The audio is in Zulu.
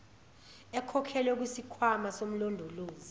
ekhokhelwe kusikhwama somlondolozi